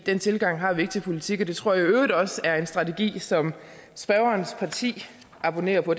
den tilgang har vi ikke til politik og det tror jeg i øvrigt også er en strategi som spørgerens parti abonnerer på